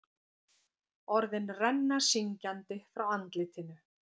Orðin renna syngjandi frá andlitinu.